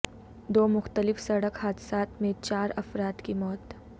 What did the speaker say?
دو مختلف سڑک حادثات میں چار افراد کی موت